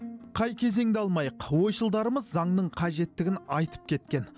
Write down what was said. қай кезеңді алмайық ойшылдарымыз заңның қажеттігін айтып кеткен